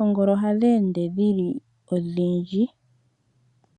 Oongolo ohadhi ende dhili odhindji.